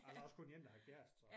Ej der også kun én der har kæreste så